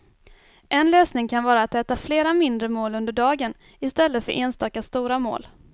En lösning kan vara att äta flera mindre mål under dagen i stället för enstaka stora mål.